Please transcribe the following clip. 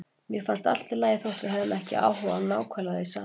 Mér fannst allt í lagi þótt við hefðum ekki áhuga á nákvæmlega því sama.